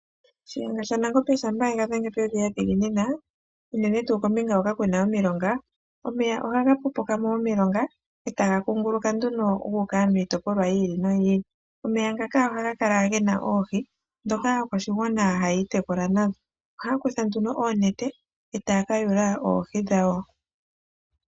Shiyenga shaNangombe shampa yega dhenge pevi yadhiginina unene ngaa koombinga dhoka kuna omilonga, omeya ohaga zimo momilonga e taga kunguluka nduno gu uka miitopolwa yi ili noyi ili. Omeya ngaka ohaga kala gena oohi dhoka aakwashigwana haya itekula nadho oha ya kutha nee oonete opo ya yule oohi dhawo.